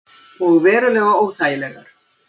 Og verulega óþægilegar.